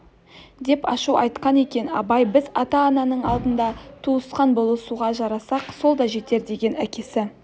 деп ашу айтқан екен абай біз ата-ананың алдында туысқан болысуға жарасақ сол да жетер деген әкесі